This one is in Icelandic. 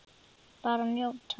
Bara njóta.